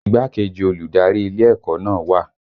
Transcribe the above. Igbákejì olùdarí ilé ẹ̀kọ́ náà wà